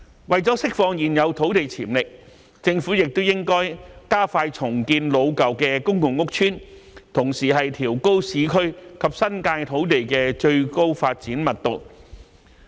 為了釋放現有土地潛力，政府也應加快重建老舊公共屋邨，同時調高市區及新界土地的最高發展密度。